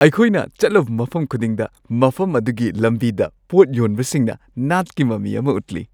ꯑꯩꯈꯣꯏꯅ ꯆꯠꯂꯨꯕ ꯃꯐꯝ ꯈꯨꯗꯤꯡꯗ ꯃꯐꯝ ꯑꯗꯨꯒꯤ ꯂꯝꯕꯤꯗ ꯄꯣꯠ ꯌꯣꯟꯕꯁꯤꯡꯅ ꯅꯥꯠꯀꯤ ꯃꯃꯤ ꯑꯃ ꯎꯠꯂꯤ ꯫